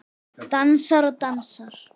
Dansar og dansar.